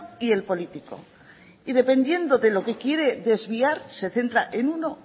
y el político y dependiendo de lo que quiere desviar se centra en uno